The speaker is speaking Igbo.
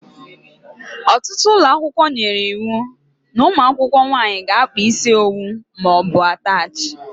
Ọtụtụ ụlọakwụkwọ nyere iwu n' umuakwukwo nwaanyị ga-akpa isi owu maọbu atachi.